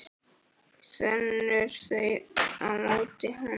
Þenur þau á móti honum.